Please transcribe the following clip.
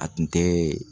A tun tɛ